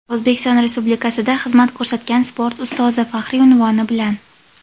"O‘zbekiston Respublikasida xizmat ko‘rsatgan sport ustozi" faxriy unvoni bilan.